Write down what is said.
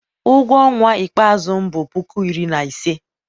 ụgwọ ọnwa ikpeazụ m bụ puku iri na ise